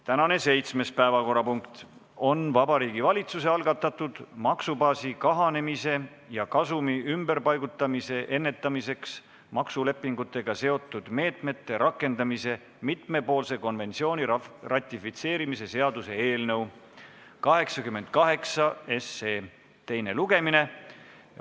Tänane seitsmes päevakorrapunkt on Vabariigi Valitsuse algatatud maksubaasi kahandamise ja kasumi ümberpaigutamise ennetamiseks maksulepingutega seotud meetmete rakendamise mitmepoolse konventsiooni ratifitseerimise seaduse eelnõu 88 teine lugemine.